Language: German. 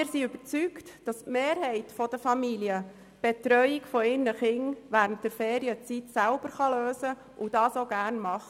Wir sind überzeugt, dass die Mehrheit der Familien die Betreuung ihrer Kinder während den Ferien selber lösen kann und dies auch gerne macht.